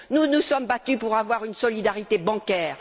Nous nous sommes battus pour avoir une solidarité bancaire.